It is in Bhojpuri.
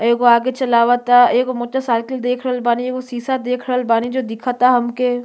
एगो आगे चलाव ता। एगो मोटरसाइकिल देख रहल बानी। एगो सीसा देख रहल बानी जो दिखता हमके।